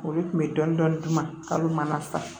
Olu tun bɛ dɔnidɔni duman sɔrɔ